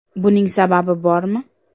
Buning sababi bormi?